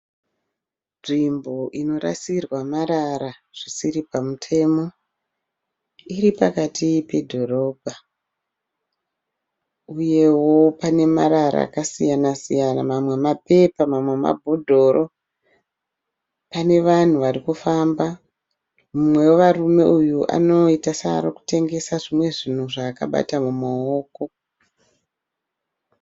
Nzvimbo inorasirwa marara zvisiri pamutemo. Iri pakati pedhorobha uyewo pane marara akasaya-siyana. Mamwe mapepa mamwe mabhodhoro. Pane vanhu vari kufamba, mumwe wevarume uyu anoita seari kutengesa zvimwe zvaakabata mumaoko.